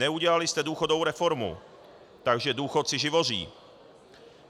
Neudělali jste důchodovou reformu, takže důchodci živoří.